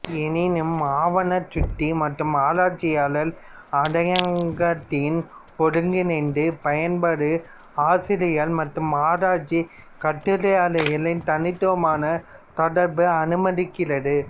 எண்ணிம ஆவணச் சுட்டி மற்றும் ஆராய்ச்சியாளர் அடையாளங்காட்டியின் ஒருங்கிணைந்த பயன்பாடு ஆசிரியர்கள் மற்றும் ஆராய்ச்சி கட்டுரைகளின் தனித்துவமான தொடர்பை அனுமதிக்கிறது